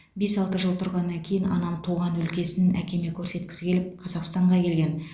бес алты жыл тұрғаннан кейін анам туған өлкесін әкеме көрсеткісі келіп қазақстанға келген